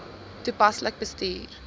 toepaslik bestuur